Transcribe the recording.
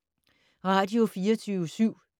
Radio24syv